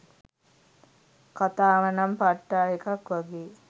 කතාවනං පට්ටා එකක් වගේ